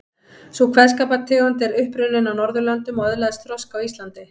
Sú kveðskapartegund er upp runnin á Norðurlöndum og öðlaðist þroska á Íslandi.